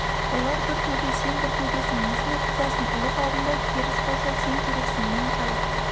олар бір төбе сен бір төбесің несін айтқызасын ұлық алдында керіс болса сен керексің мен қай